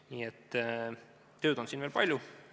Nii et tööd on siin veel palju.